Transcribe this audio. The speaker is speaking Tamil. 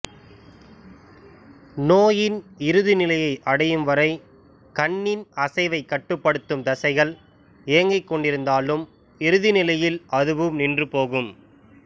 நோயின் இறுதி நிலையை அடையும்வரை கண்ணின் அசைவைக் கட்டுப்படுத்தும் தசைகள் இயங்கிக் கொண்டிருந்தாலும் இறுதி நிலையில் அதுவும் நின்று போகும்